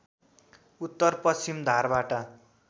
उत्तर पश्चिम धारबाट